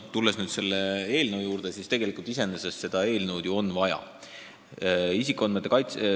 Kui nüüd selle eelnõu juurde tulla, siis iseenesest on seda eelnõu ju vaja.